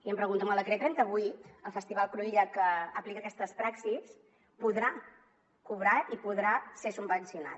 i em pregunto amb el decret trenta vuit el festival cruïlla que aplica aquestes praxis podrà cobrar i podrà ser subvencionat